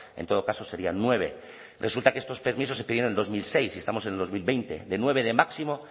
en todo caso serían nueve resulta que estos permisos se pidieron en dos mil seis y estamos en dos mil veinte de nueve de máximo